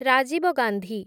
Rajiv Gandhi